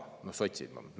No sotsid.